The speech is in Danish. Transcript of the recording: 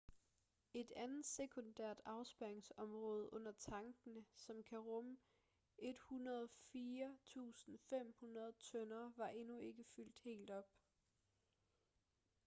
et andet sekundært afspærringsområde under tankene som kan rumme 104.500 tønder var endnu ikke fyldt helt op